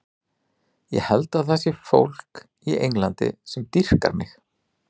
Ég held að það sé fólk í Englandi sem dýrkar mig.